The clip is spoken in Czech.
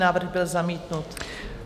Návrh byl zamítnut.